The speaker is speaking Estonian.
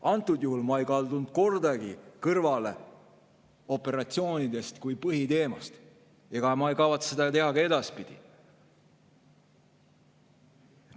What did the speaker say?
Antud juhul ei kaldunud ma kordagi kõrvale operatsioonidest kui põhiteemast ega kavatse seda teha ka edaspidi.